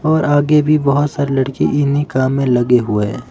और आगे भी बहोत सारी लड़की इन्हीं काम में लगे हुए--